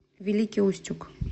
великий устюг